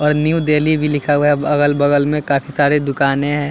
और न्यू देल्ही भी लिखा हुआ है अगल बगल में काफी सारी दुकाने हैं।